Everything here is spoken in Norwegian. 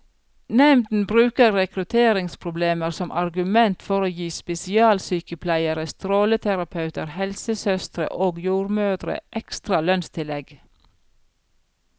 Nemnden bruker rekrutteringsproblemer som argument for å gi spesialsykepleiere, stråleterapeuter, helsesøstre og jordmødre ekstra lønnstillegg.